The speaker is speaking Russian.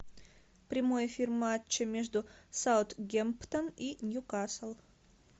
прямой эфир матча между саутгемптон и ньюкасл